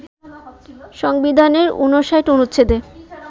সংবিধানের ৫৯ অনুচ্ছেদে